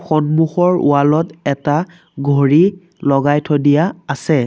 সন্মুখৰ ৱাল ত এটা ঘড়ী লগাই থৈ দিয়া আছে।